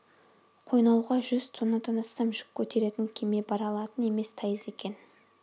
қойнауға жүз тоннадан астам жүк көтеретін кеме бара алатын емес тайыз екен